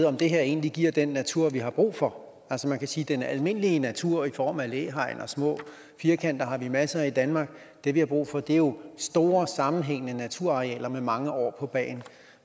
om det her egentlig giver den natur vi har brug for altså man kan sige at den almindelige natur i form af læhegn og små firkanter har vi masser af i danmark det vi har brug for er jo store sammenhængende naturarealer med mange år på bagen